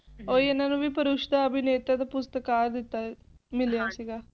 ਇਹਨਾ ਨੂੰ ਵੀ ਪਰਿਸ਼ਤਾ ਅਭਿਨੇਤਾ ਪੁਰਸਕਾਰ ਮਿਲਿਆ ਸੀਗਾ